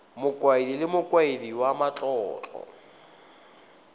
mokaedi le mokaedi wa matlotlo